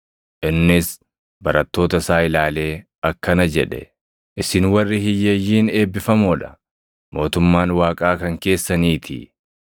Innis barattoota isaa ilaalee akkana jedhe: “Isin warri hiyyeeyyiin eebbifamoo dha; mootummaan Waaqaa kan keessaniitii.